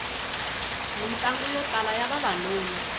mitlangu yo tala ya vavanuna